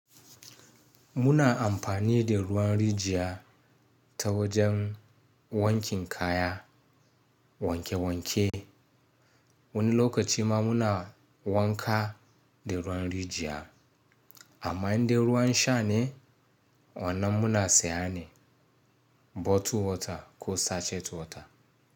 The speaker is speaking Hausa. Muna amfani da ruwan rijiya ta wajen wankin kaya, wanke wanke. Wani lokaci ma muna wanka da ruwan rijiya amma inda ruwan sha ne wannan muna sayane bottled water ko sachet water.